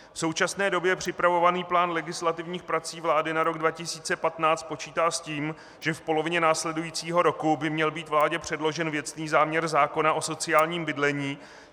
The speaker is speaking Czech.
V současné době připravovaný plán legislativních prací vlády na rok 2015 počítá s tím, že v polovině následujícího roku by měl být vládě předložen věcný záměr zákona o sociálním bydlení.